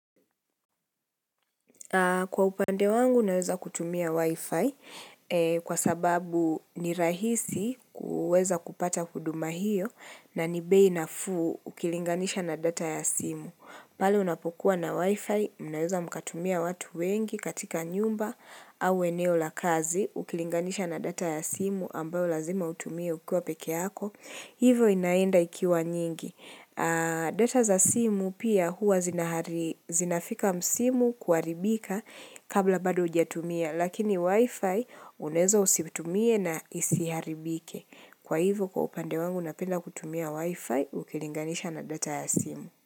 Kwa upande wangu naweza kutumia wi-fi kwa sababu ni rahisi kuweza kupata huduma hiyo na ni bei nafuu ukilinganisha na data ya simu. Pale unapokua na wi-fi mnaweza mkatumia watu wengi katika nyumba au eneo la kazi ukilinganisha na data ya simu ambayo lazima utumie ukiwa peke yako. Hivyo inaenda ikiwa nyingi. Data za simu pia huwa zinafika msimu kuharibika kabla bado hujatumia lakini wifi unaeza usitumie na isiharibike. Kwa hivo kwa upande wangu napenda kutumia wifi ukilinganisha na data ya simu.